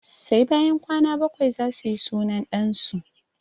Sai bayan kwana bakwai zasu yi sunan ɗan su